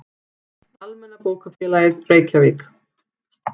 Almenna bókafélagið, Reykjavík.